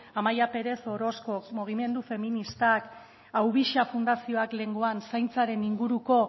amaia pérez orozkok mugimendu feministak aubixa fundazioak lehengoan zaintzaren inguruko